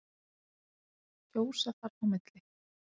Kjósa þarf á milli.